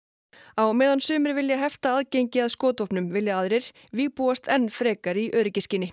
á meðan sumir vilja hefta aðgengi að skotvopnum vilja aðrir vígbúast enn frekar í öryggisskyni